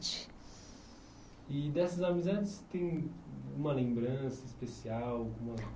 E dessas amizades, tem uma lembrança especial, alguma...